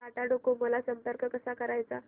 Tata Docomo ला संपर्क कसा करायचा